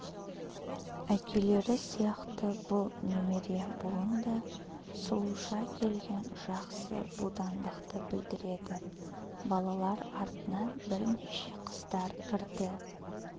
әкелері сияқты бұл немере буын да сұлуша келген жақсы будандықты білдіреді балалар артынан бірнеше қыздар кірді